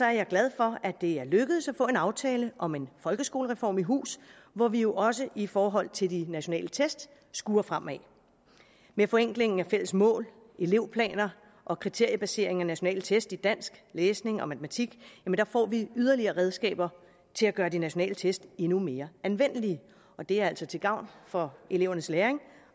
jeg glad for at det er lykkedes at få en aftale om en folkeskolereform i hus hvor vi jo også i forhold til de nationale test skuer fremad med forenklingen af fælles mål elevplaner og kriteriebaseringen af nationale test i dansk læsning og matematik får vi yderligere redskaber til at gøre de nationale test endnu mere anvendelige og det er altså til gavn for elevernes læring